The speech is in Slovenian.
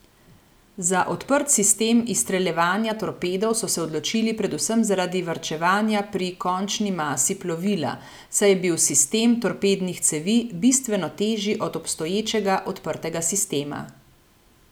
Za odprt sistem izstreljevanja torpedov so se odločili predvsem zaradi varčevanja pri končni masi plovila, saj je bil sistem torpednih cevi bistveno težji od obstoječega odprtega sistema.